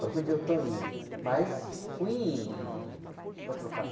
para onde eu estou indo, mas fui indo, meu... ó para trocar.